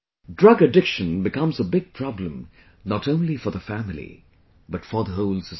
Drug addiction becomes a big problem not only for the family, but for the whole society